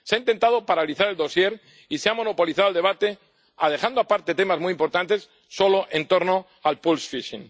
Se ha intentado paralizar el dosier y se ha monopolizado el debate, dejando aparte temas muy importantes, solo en torno a la pesca eléctrica.